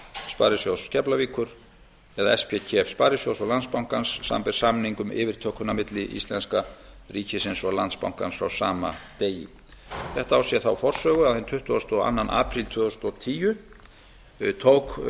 sparisjóðs keflavíkur það er spkef sparisjóðs og landsbankans samanber samning um yfirtökuna milli íslenska ríkisins og landsbankans frá sama degi þetta á sér þá forsögu að hinn tuttugasta og annan apríl tvö þúsund og tíu yfirtók